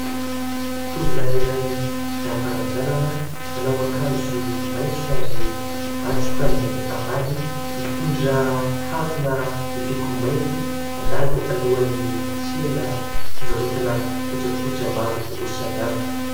Tovolahy iray lava ranjanana : manao akanjo maitso ary matroka ny ambany, mitondra harona miloko mainty, mandalo alohan'ny tsena fivarotana kojakoja maro samihafa.